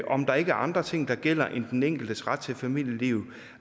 om der ikke er andre ting der gælder end den enkeltes ret til familieliv